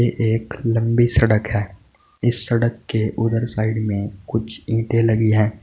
एक लंबी सड़क है इस सड़क के उधर साइड में कुछ ईंटे लगी हैं।